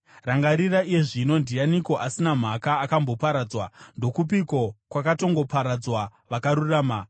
“Rangarira iye zvino: Ndianiko, asina mhaka, akamboparadzwa? Ndokupiko kwakatongoparadzwa vakarurama?